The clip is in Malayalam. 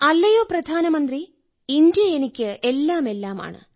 അല്ലയോ പ്രധാനമന്ത്രി ഇന്ത്യ എനിക്ക് എല്ലാമെല്ലാമാണ്